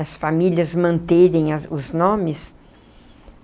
As famílias manterem a os nomes.